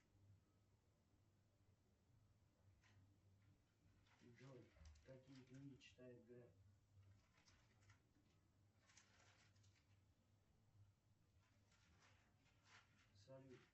джой какие книги читает греф салют